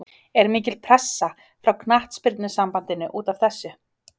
Er mikil pressa frá Knattspyrnusambandinu útaf þessu?